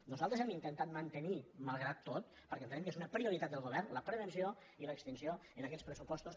nosaltres hem intentat mante·nir malgrat tot perquè entenem que és una prioritat del govern la prevenció i l’extinció en aquests pressu·postos